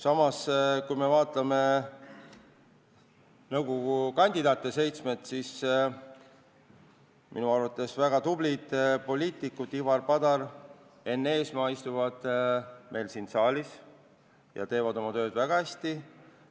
Samas, kui me vaatame nõukogu liikme kandidaate, siis minu arvates on väga tublid poliitikud Ivari Padar ja Enn Eesmaa, kes istuvad meil siin saalis ja teevad oma tööd väga hästi.